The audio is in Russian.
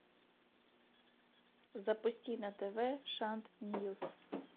запусти на тв шант ньюс